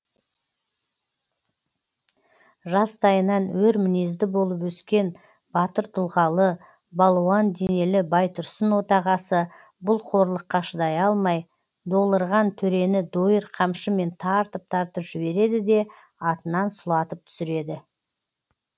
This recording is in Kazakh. жастайынан өр мінезді болып өскен батыр тұлғалы балуан денелі байтұрсын отағасы бұл қорлыққа шыдай алмай долырған төрені дойыр қамшымен тартып тартып жібереді де атынан сұлатып түсіреді